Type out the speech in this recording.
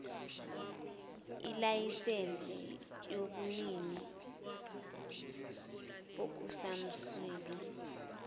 ilayisensi yobunini bokusansimbi